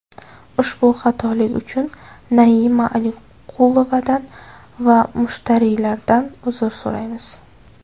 Ushbu xatolik uchun Naima Aliqulovadan va mushtariylardan uzr so‘raymiz.